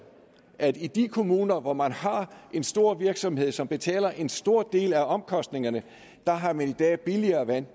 at man i de kommuner hvor man har en stor virksomhed som betaler en stor del af omkostningerne har billigere vand